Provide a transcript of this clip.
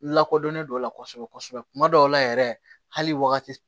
N lakodɔnnen don a la kosɛbɛ kosɛbɛ kuma dɔw la yɛrɛ hali wagati